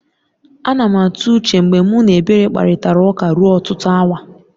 A na m atụ uche mgbe mụ na Ebere kparịtara ụka ruo ọtụtụ awa